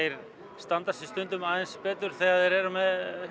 standa sig oft aðeins betur þegar þeir eru með